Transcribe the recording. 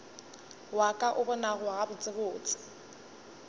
wa ka o bonago gabotsebotse